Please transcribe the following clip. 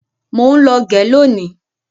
Mọ ń lọ gẹ lónìí.